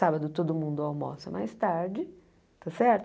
Sábado todo mundo almoça mais tarde, tá certo?